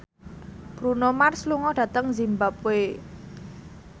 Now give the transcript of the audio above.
Bruno Mars lunga dhateng zimbabwe